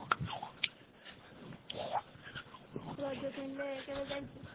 ରଜ queenରେ କେବେ ଯାଇଚୁ